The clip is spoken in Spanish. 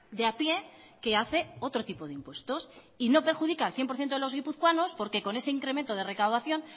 de a pie que hace otro tipo de impuestos y no perjudica al cien por ciento de los guipuzcoanos porque con ese incremento de recaudación